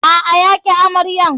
A'a, ya ƙi amaryar.